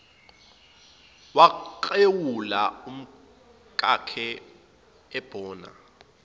waklewula umkakhe ebona